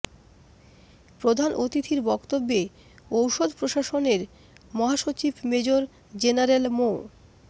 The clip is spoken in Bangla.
প্রধান অতিথির বক্তব্যে ঔষধ প্রশাসনের মহাসচিব মেজর জেনারেল মো